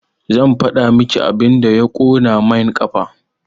Zan faɗa maki abin da ya ƙona main ƙafa